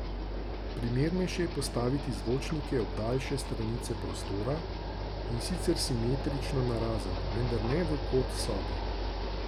Primernejše je postaviti zvočnike ob daljše stranice prostora, in sicer simetrično narazen, vendar ne v kot sobe.